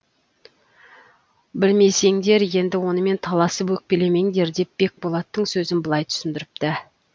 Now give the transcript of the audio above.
білмесеңдер енді онымен таласып өкпелемеңдер деп бекболаттың сөзін былай түсіндіріпті